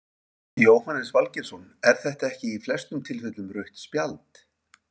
Jóhannes Valgeirsson er þetta ekki í flestum tilfellum rautt spjald?